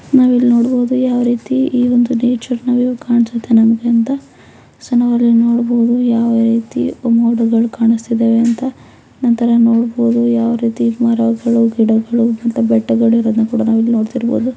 ನಾವು ಇಲ್ಲಿ ನೋಡಬವುದು ಯಾವ ರೀತಿ ಈ ಒಂದು ನೇಚರ್ ನಮಿಗೆ ಕನಿಸ್ತಿದೆ ಅಂತ ಸೊ ಅಲ್ಲಿ ನಾವು ನೋಡಬವುದು ಯಾವ ರೀತಿ ಮೋಡಗಳು ಕಾಣುಸ್ತಿದವೇ ಅಂತ ನಂತರ ನೋಡಬಹುದು ಯಾವ ರೀತಿ ಮರಗಳು ಗಿಡಗಳು ಮತ್ತಿ ಬೆಟ್ಟ ಗಳು ಇರೋದ್ನ ಇಲ್ಲಿ ನೋಡತ್ತಿರಬಹುದು.